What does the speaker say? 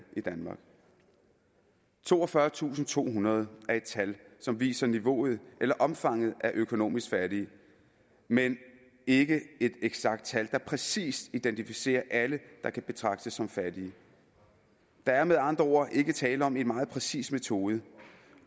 i danmark toogfyrretusinde og tohundrede er et tal som viser niveauet eller omfanget af økonomisk fattige men ikke et eksakt tal der præcis identificerer alle der kan betragtes som fattige der er med andre ord ikke tale om en meget præcis metode